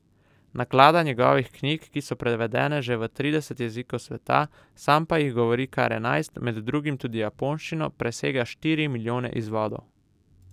Naklada njegovih knjig, ki so prevedene že v trideset jezikov sveta, sam pa jih govori kar enajst, med drugim tudi japonščino, presega štiri milijone izvodov.